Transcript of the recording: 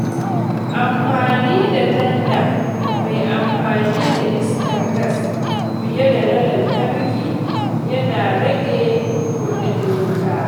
Amfani da tanda mai amfani da iskar gas fiye da na lantarki yana rage kuɗin wuta.